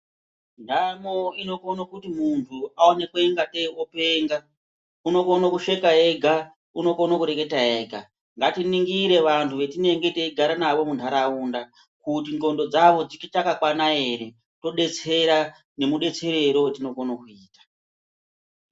Nhamo inokone kuti munhu aonekwe ungatei openga. Unokone kusheka ega, unokone kureketa ega. Ngatiningire vantu vatinenge teigara navo munharaunda ,kuti ndxondo dzavo dzichakakwana ere, todetsera nemudetserero wetinokone kuita .